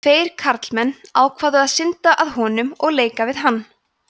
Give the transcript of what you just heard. tveir karlmenn ákváðu að synda að honum og leika við hann